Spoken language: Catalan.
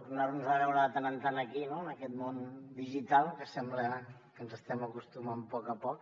tornar nos a veure de tant en tant aquí no en aquest món digital que sembla que ens estem acostumant a poc a poc